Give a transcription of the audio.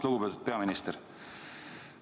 Lugupeetud peaminister!